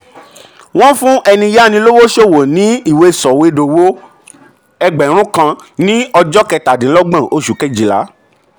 wọ́n fún ẹni yá ni yá ni lówó ṣòwò ní ìwé sọ̀wédowó ẹgbẹ̀rún kan ní ọjọ́ kẹtàdínlọ́gbọ̀n oṣù kejìlá.